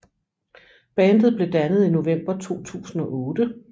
Bandet blev dannet i november 2008